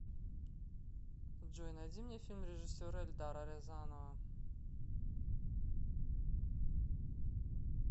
джой найди мне фильм режисера эльдара рязанова